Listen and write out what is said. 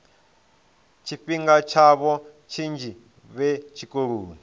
tshifhinga tshavho tshinzhi vhe tshikoloni